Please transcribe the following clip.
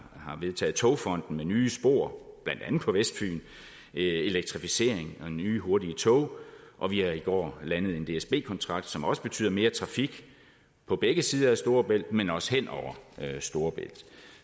vedtaget togfonden dk med nye spor blandt andet på vestfyn elektrificering og nye hurtige tog og vi har i går landet en dsb kontrakt som også betyder mere trafik på begge sider af storebælt men også hen over storebælt